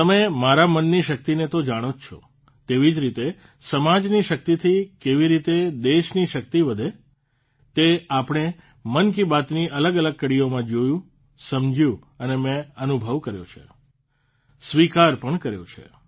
તમે તમારા મનની શક્તિને તો જાણો જ છો તેવી જ રીતે સમાજની શક્તિથી કેવી રીતે દેશની શક્તિ વધે તે આપણે મન કી બાતની અલગઅલગ કડીઓમાં જોયું સમજ્યું અને મે અનુભવ કર્યો છે સ્વીકાર પણ કર્યો છે